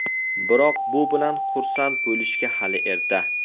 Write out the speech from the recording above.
Biroq bu bilan xursand bo‘lishga hali erta.